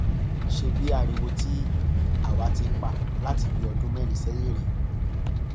ṣebí ariwo tí àwa ti ń pa láti bíi ọdún mẹrin sẹyìn rèé